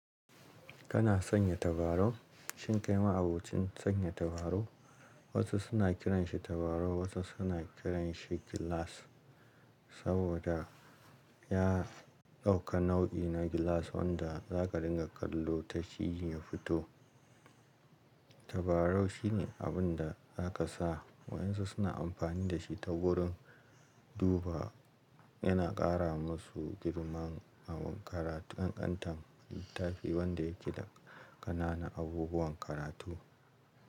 Kana sanya tabarau? Shin kai ma'abocin sanya tabarau? Wasu suna kiranshi tabarau, wasu suna kiranshi gilas saboda ya ɗauka nau'i na gilas wanda za ka dinga kallo ta shi ya fito. Tabarau shine abun da za ka sa wayan su suna amfani da shi ta wurin duba yana ƙara masu girman ƙanƙantan littafi wanda yake da ƙananan abubuwan karatu.